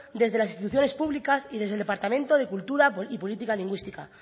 desde las instituciones públicas y desde el departamento de cultura y política lingüística